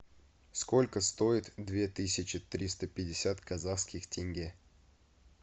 сколько стоит две тысячи триста пятьдесят казахских тенге